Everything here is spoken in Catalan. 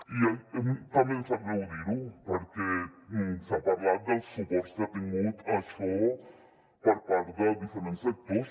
i també em sap greu dir ho perquè s’ha parlat dels suports que ha tingut això per part de diferents sectors